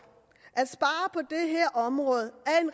at område